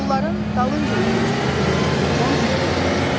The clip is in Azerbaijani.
Onların dalınca üzürsüz, Qrifon zingildədi.